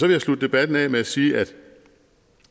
jeg slutte debatten af med at sige at